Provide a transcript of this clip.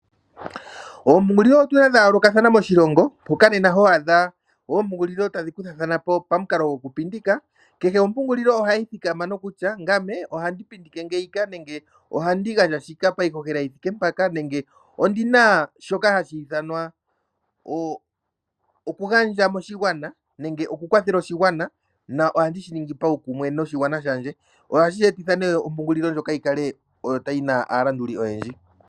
Oompungulilo otu na dha yoolokathana moshilongo, mpoka nena ho adha oompungulilo tadhi kuthathana po pamukalo gokupindika. Kehe ompungulilo ohayi thikama nokutya ngame ohandi pindike ngeyika nenge ohandi gandja ngeyika payihohela yi thike mpaka nenge ondi na shoka hashi ithanwa okugandja moshigwana nenge okukwathela oshigwana nohandi shi ningi paukumwe noshigwana shandje. Ohashi ethitha nduno opo ompungulilo ndjoka yi kale yi na aalanduli oyendji.